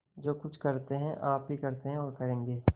जो कुछ करते हैं आप ही करते हैं और करेंगे